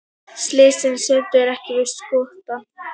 Selfyssingar sömdu ekki við Skotann